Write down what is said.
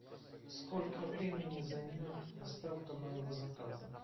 сколько времени займет доставка моего заказа